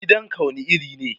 Gidanka wane iri ne?